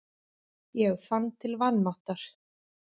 Ég fann til vanmáttar.